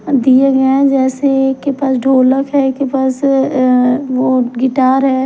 दिए गए हैं जैसे एक के पास ढोलक है एक के पास अअ वो गिटार है।